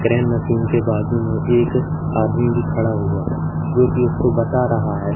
Crane machine के बाजू में एक आदमी भी खड़ा हुआ है जो कि उसको बता रहा है।